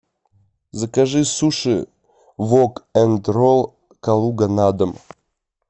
закажи суши вок энд ролл калуга на дом